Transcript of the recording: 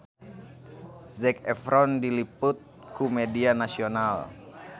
Zac Efron diliput ku media nasional